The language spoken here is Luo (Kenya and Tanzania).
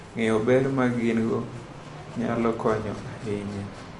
Ng'eyo ber ma gin - go nyalo konyo ahinya .